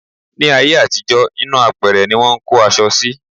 Ní ayé àtijọ́, inú apẹ̀rẹ̀ ní wọ́n ń kó aṣọ sí.